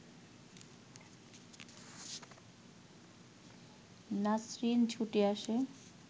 নাছরিন ছুটে আসে